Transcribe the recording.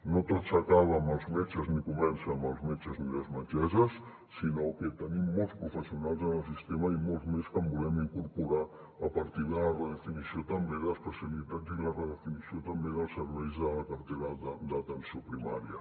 no tot s’acaba amb els metges ni comença amb els metges ni les metgesses sinó que tenim molts professionals en el sistema i molts més que hi volem incorporar a partir de la redefinició també d’especialitats i la redefinició també dels serveis de la cartera d’atenció primària